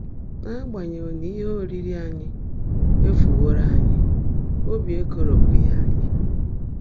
N’ágbányèghị́ ná íhe óriirí ányị́ éfúwọ́ró ányị́, óbí ékòrópụ́ghị́ ányị́.